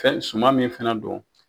suman min fana do